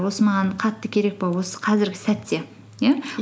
осы маған қатты керек пе осы қазіргі сәтте иә